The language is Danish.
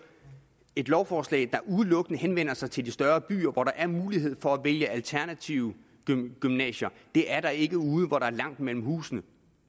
et lovforslag der udelukkende henvender sig til de større byer hvor der er mulighed for at vælge alternative gymnasier det er der ikke ude hvor der er langt mellem husene